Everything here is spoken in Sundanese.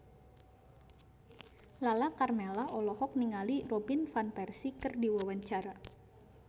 Lala Karmela olohok ningali Robin Van Persie keur diwawancara